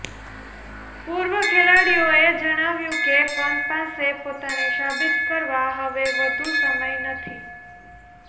પૂર્વ ખેલાડીઓએ જણાવ્યું કે પંત પાસે પોતાને સાબિત કરવા હવે વધુ સમય નથી